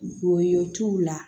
Woyo t'u la